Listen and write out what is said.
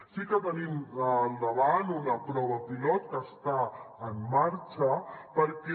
sí que tenim al davant una prova pilot que està en marxa perquè